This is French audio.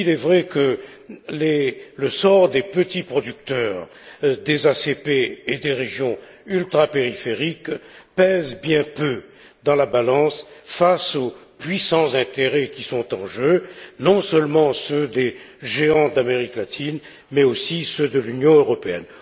Il est vrai que le sort des petits producteurs des ACP et des régions ultrapériphériques pèse bien peu dans la balance face aux puissants intérêts qui sont en jeu, non seulement ceux des géants d'Amérique latine mais aussi ceux de l'Union européenne.